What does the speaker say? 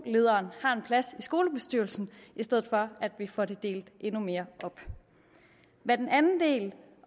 lederen har en plads i skolebestyrelsen i stedet for at vi får det delt endnu mere op hvad den anden del